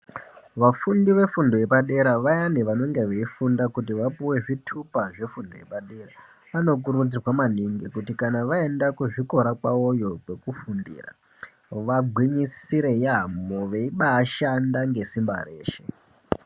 Vafundi vefundo yepadera, vayani vanonga veifunda kuti vapuwe zvitupa zvefundo yepadera. Vanokurudzirwa maningi kuti kana vaenda kuzvikora kwavoyo zvekufundira, vagwinyisire yaampho, veibashanda ngesimba reshe.